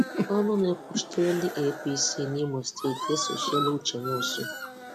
Ọnụ na-ekwuchitere ndị APC n'Imo steeti esochiela Uche Nwosu